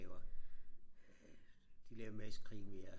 laver de laver masse krimier